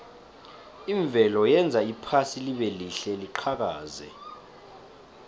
imvelo yenza iphasi libelihle liqhakaze